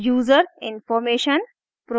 userinformation